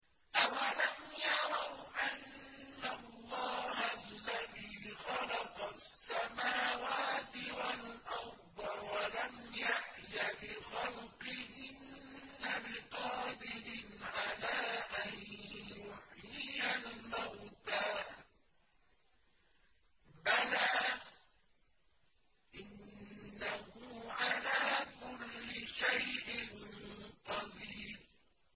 أَوَلَمْ يَرَوْا أَنَّ اللَّهَ الَّذِي خَلَقَ السَّمَاوَاتِ وَالْأَرْضَ وَلَمْ يَعْيَ بِخَلْقِهِنَّ بِقَادِرٍ عَلَىٰ أَن يُحْيِيَ الْمَوْتَىٰ ۚ بَلَىٰ إِنَّهُ عَلَىٰ كُلِّ شَيْءٍ قَدِيرٌ